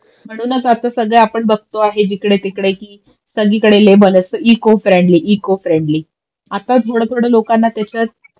म्हणूनच आता सगळं आपण बघतो आहे कि जिकडे तिकडे कि सगळीकडे लेबल असत इको फ्रेंडली इको फ्रेंडली. आताच लोकांना त्याच्या